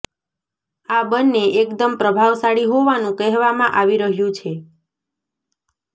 આ બંને એકદમ પ્રભાવશાળી હોવાનું કહેવામાં આવી રહ્યું છે